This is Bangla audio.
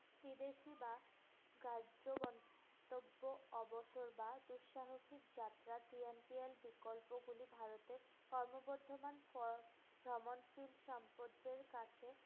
বিদেশী বা গন্তব্য অবসর বা দুঃসাহসিক যাত্রা বিকল্পগুলি ভারতে ক্রমবর্ধমান ফ~ ভ্রমণশীল সম্পদ্দের কাছে